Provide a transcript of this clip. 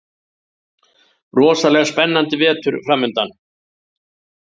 Rosalega spennandi vetur framundan